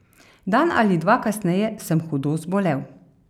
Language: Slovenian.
Dan ali dva kasneje sem hudo zbolel.